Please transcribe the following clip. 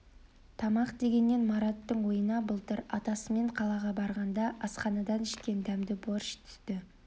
тамақ дегеннен мараттың ойына былтыр атасымен қалаға барғанда асханадан ішкен дәмді борщ түсті